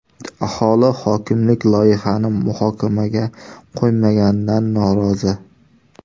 Aholi hokimlik loyihani muhokamaga qo‘ymaganidan norozi.